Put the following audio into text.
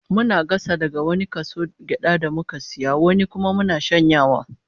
Muna gasa wani kaso daga gyadar da muka sayo, wani kuma muna shanyawa